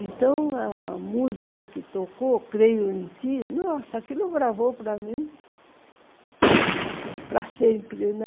Então, a música que tocou, Creio em Ti, nossa, aquilo gravou para mim para sempre, né?